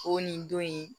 O nin don in